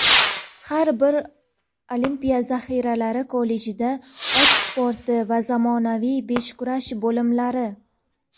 har bir olimpiya zaxiralari kollejida ot sporti va zamonaviy beshkurash bo‘limlari;.